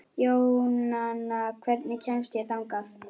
Jónanna, hvernig kemst ég þangað?